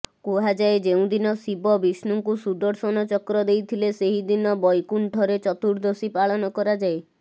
କୁହାଯାଏ ଯେଉଁଦିନ ଶିବ ବିଷ୍ଣୁଙ୍କୁ ସୁଦର୍ଶନ ଚକ୍ର ଦେଇଥିଲେ ସେହିଦିନ ବୈକୁଣ୍ଠରେ ଚତୁଦର୍ଶୀ ପାଳନ କରାଯାଏ